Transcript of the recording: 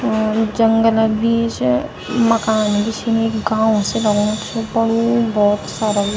और जंगलक बीच मकान भी छिन एक गांव सि लगणू च बड़ु भौत सारा।